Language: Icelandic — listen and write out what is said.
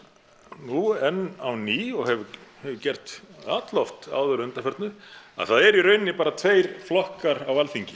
nú enn á ný og hefur gert alloft áður að undanförnu að það eru í rauninni bara tveir flokkar á Alþingi